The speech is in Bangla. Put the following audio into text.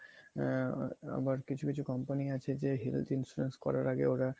আ~ আবার কিছু কিছু কোম্পানি আছে যে health ইন্সুরেন্স করার আগে ওরা